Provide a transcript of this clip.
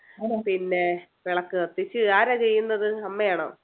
പിന്നെ വിളക്ക് കത്തിച്ച്, ആരാ ചെയുന്നത്, അമ്മയാണോ?